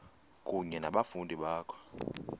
kunye nabafundi bakho